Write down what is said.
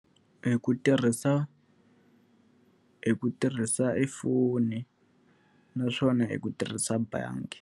Hi ku tirhisa hi ku tirhisa e foni naswona hi ku tirhisa bangi.